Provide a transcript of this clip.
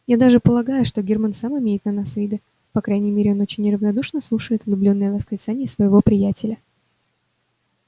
я даже полагаю что германн сам имеет на вас виды по крайней мере он очень неравнодушно слушает влюблённые восклицания своего приятеля